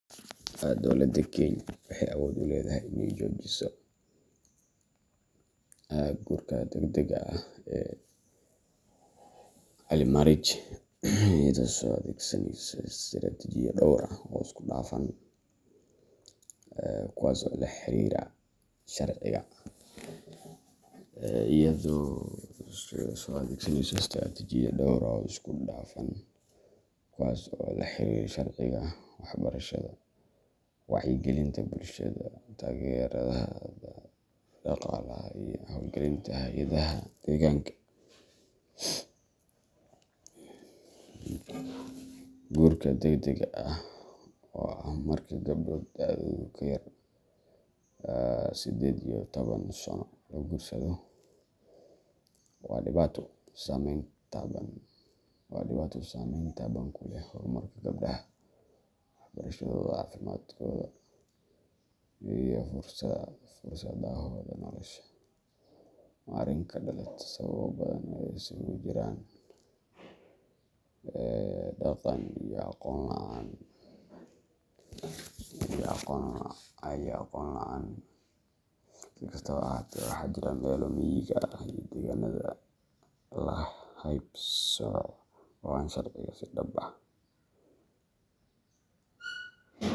Dowladda Kenya waxay awood u leedahay inay joojiso guurka degdega ah early marriage iyada oo adeegsanaysa istaraatijiyado dhowr ah oo isku dhafan, kuwaas oo la xiriira sharciga, waxbarashada, wacyigelinta bulshada, taageerada dhaqaalaha, iyo hawlgalinta hay’adaha deegaanka. Guurka degdega ah, oo ah marka gabdho da’doodu ka yar tahay sided iyo toban sano la guursado, waa dhibaato saameyn taban ku leh horumarka gabdhaha, waxbarashadooda, caafimaadkooda, iyo fursadahooda nolosha. Waa arrin ka dhalata sababo badan oo isugu jira dhaqan, saboolnimo, iyo aqoon la’aan. Si kastaba ha ahaatee, waxaa jira meelaha miyiga ah iyo deegaanada la hayb-sooco ee aan sharciga si dhab ah.